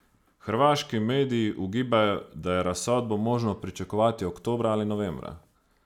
Hrvaški mediji ugibajo, da je razsodbo možno pričakovati oktobra ali novembra.